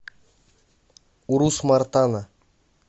урус мартана